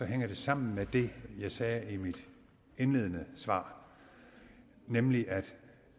hænger det sammen med det jeg sagde i mit indledende svar nemlig at